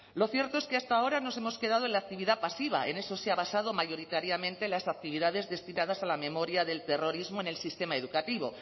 lo cierto es que hasta ahora nos hemos quedado en la actividad pasiva en eso se han basado mayoritariamente las actividades destinadas a la memoria del terrorismo en el sistema educativo